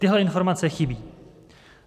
Tyhle informace chybí.